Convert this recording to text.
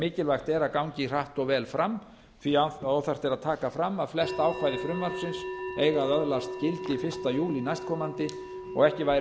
mikilvægt er að gangi hratt og vel fram því að óþarft er að taka fram að flest ákvæði frumvarpsins eiga að öðlast gildi fyrsta júlí næstkomandi og ekki væri verra